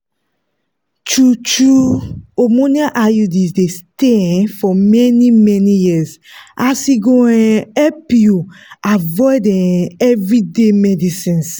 true-true hormonal iuds dey stay um for many-many years as e go um help you avoid um everyday medicines.